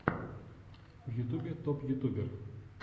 в ютюбе топ ютубер